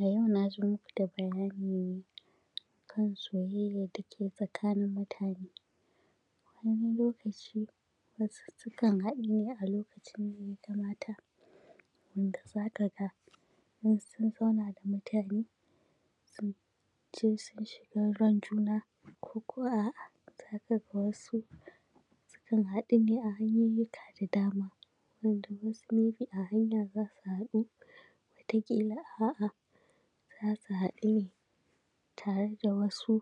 A yau na zo muku da bayani ne a kan soyayyar da ke tsakanin mutane, Wani lokaci wasu sukan haɗu ne a lokacin da mata, wanda za ka ga wasu su n zauna da mutane sun shiga ran juna, ko ko a’a za ka ga wasu sukan haɗu ne a hanyoyika da dama, wanda wasu may be a hanya za su haɗu, wata ƙila a’a za su haɗu ne tare da wasu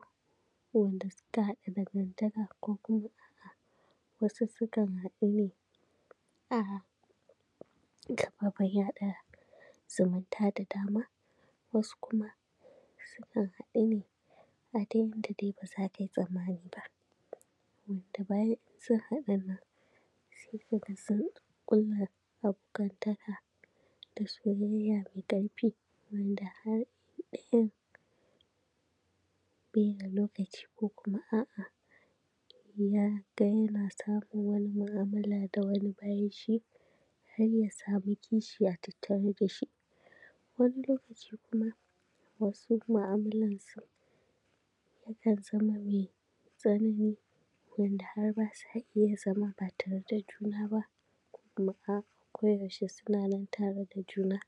wanda suka haɗa dangantaka, ko kuma a’a wasu sukan haɗu ne a gaba ɗaya zumunta da dama, wasu kuma sukan haɗu ne a dai inda ba za ka yi tsammani ba, wanda bayan sun haɗun nan sai ka ga sun ƙulla abokanta ka da soya yya mai ƙarfi,, wanda har ɗaya n bai da lokaci ko kuma a’a ya ga yana samun wani mu’amala da wani bayan shi har zai zo ya samu kishiya a tattare da shi, wani lokaci kuma wasu mu’amalarsu yakan zama mai tsanani wanda har ba sa iya zama ba tare da juna ba, ko kuma a’a koyaushe suna nan tare da juna,